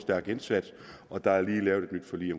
stærk indsats og der er lige lavet et nyt forlig i